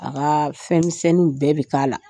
A ka fɛn misɛninw bɛɛ bɛ k'a la.